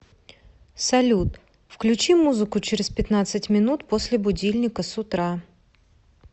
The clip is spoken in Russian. салют включи музыку через пятнадцать минут после будильника с утра